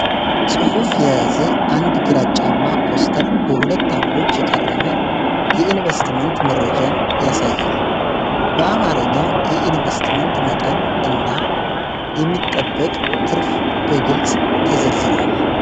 ጽሑፍ የያዘ አንድ ግራጫማ ፖስተር በሁለት አምዶች የቀረበ የኢንቨስትመንት መረጃን ያሳያል። በአማርኛ የኢንቨስትመንት መጠን እና የሚጠበቅ ትርፍ በግልጽ ተዘርዝረዋል ።